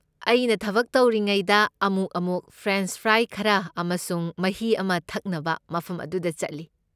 ꯑꯩꯅ ꯊꯕꯛ ꯇꯧꯔꯤꯉꯩꯗ ꯑꯃꯨꯛ ꯑꯃꯨꯛ ꯐ꯭ꯔꯦꯟꯆ ꯐ꯭ꯔꯥꯏ ꯈꯔ ꯑꯃꯁꯨꯡ ꯃꯍꯤ ꯑꯃ ꯊꯛꯅꯕ ꯃꯐꯝ ꯑꯗꯨꯗ ꯆꯠꯂꯤ꯫